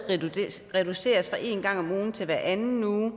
reduceres fra en gang om ugen til hver anden uge